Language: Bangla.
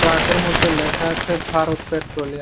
ট্রাকের মধ্যে লেখা আছে ভারত পেট্রোলিয়াম ।